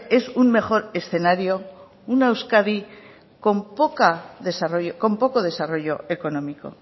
es un mejor escenario una euskadi con poco desarrollo económico